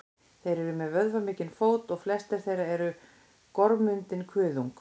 þeir eru með vöðvamikinn fót og flestir þeirra með gormundinn kuðung